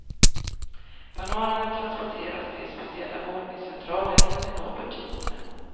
Bananerna transporteras till speciella mogningscentraler innan de når butikerna.